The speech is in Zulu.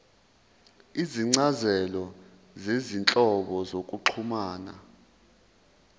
izincazelo zezinhlobo zokuxhumana